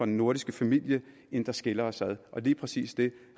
nordiske familie end der skiller os ad og lige præcis det